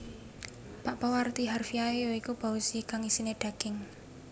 Bakpao arti harfiahe ya iku baozi kang isiné daging